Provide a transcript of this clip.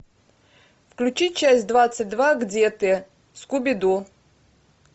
включи часть двадцать два где ты скуби ду